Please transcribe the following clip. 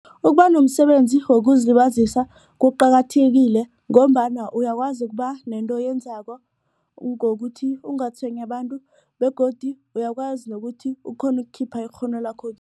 Ukuba nomsebenzi wokuzilibazisa kuqakathekile ngombana uyakwazi ukuba nento oyenzako ngokuthi ungatshwenyi abantu begodu uyakwazi nokuthi ukghone ukukhipha ikghono